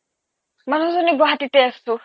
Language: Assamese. মানুহ জ্নী গুৱাহাটীতে আছো